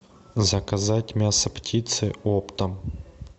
заказать мясо птицы оптом